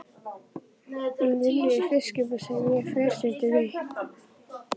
Hún vinnur í fiskbúð sem ég fer stundum í.